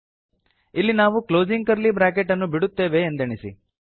ಇಲ್ಲಿ ನಾವು closing curly bracket ಅನ್ನು ಬಿಡುತ್ತೇವೆ ಎಂದೆಣಿಸಿ